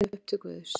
Farin upp til Guðs.